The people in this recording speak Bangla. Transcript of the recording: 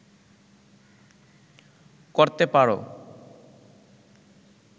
করতে পারো